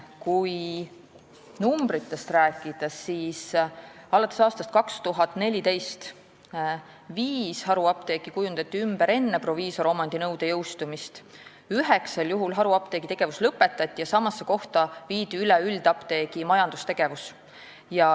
Kui numbritest rääkida, siis alates aastast 2014 viis haruapteeki kujundati ümber enne proviisoromandi nõude jõustumist, üheksal juhul haruapteegi tegevus lõpetati ja samasse kohta viidi üle üldapteegi majandustegevus.